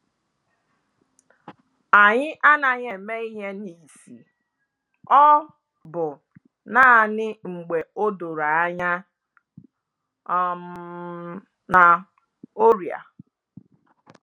Anyị anaghị eme ihe n'isi, ọ bụ naanị mgbe odoro anya um na oria